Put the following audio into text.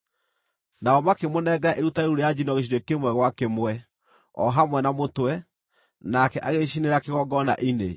Nao makĩmũnengera iruta rĩu rĩa njino gĩcunjĩ kĩmwe gwa kĩmwe, o hamwe na mũtwe, nake agĩcicinĩra kĩgongona-inĩ.